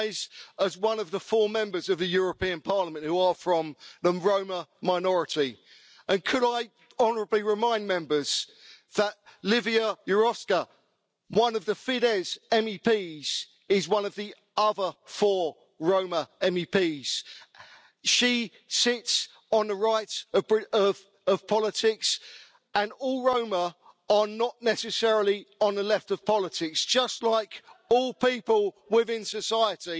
I rise as one of the four Members of the European Parliament who are from the Roma minority, and could I honourably remind Members that Lívia Járóka, one of the Fidesz MEPs, is one of the other four Roma MEPs. She sits on the right of politics and not all Roma are necessarily on the left of politics, just like all people within society,